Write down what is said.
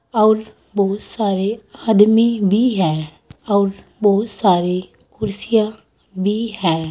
और बहुत सारे आदमी है और बहुत सारे कुर्सियां भी है।